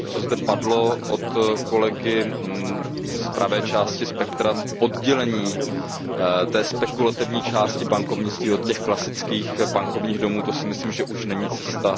Co zde padlo od kolegy z pravé části spektra, oddělení spekulativní části bankovnictví od těch klasických bankovních domů, to si myslím, že již není cesta.